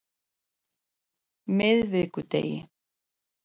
miðvikudegi